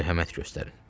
Mərhəmət göstərin.